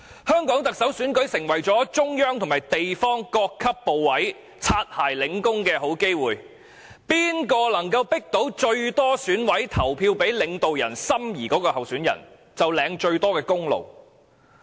香港特首選舉成為中央及地方各級部委"擦鞋"領功的好機會，誰能夠迫使最多選委投票給領導人心儀的候選人，便可以領得最大功勞。